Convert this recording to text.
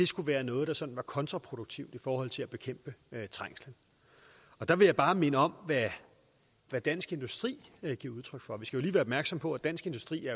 skulle være noget der sådan var kontraproduktivt i forhold til at bekæmpe trængslen der vil jeg bare minde om hvad dansk industri giver udtryk for vi skal jo opmærksom på at dansk industri